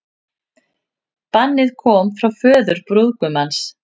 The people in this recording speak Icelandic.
Bannið kom frá föður brúðgumans